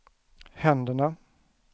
händerna